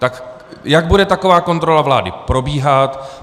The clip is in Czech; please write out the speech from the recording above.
Tak jak bude taková kontrola vlády probíhat?